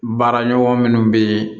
Baaraɲɔgɔn minnu bɛ yen